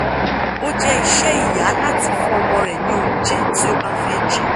o je ise iya lati fun omo re ni ounje ti obafe jeun